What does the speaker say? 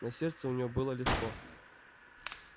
на сердце у нее было легко